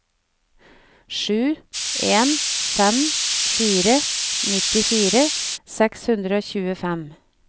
sju en fem fire nittifire seks hundre og tjuefem